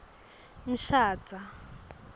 mshadza